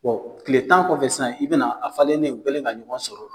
Bon tile tan kɔfɛ sisan i bɛna a falennen u kɛlen ka ɲɔgɔn sɔrɔ